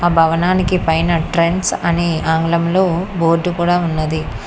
భవనానికి పైన ట్రెండ్స్ అని ఆంగ్లంలో బోర్డు కూడా ఉన్నది.